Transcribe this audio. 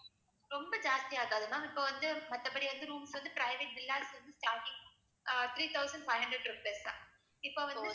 ரொம்ப ஜாஸ்தி ஆகாது ma'am இப்போ வந்து மத்தபடி வந்து rooms வந்து private villas வந்து starting three thousand five hundred rupees தான் இப்ப வந்து